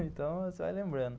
Então, você vai lembrando.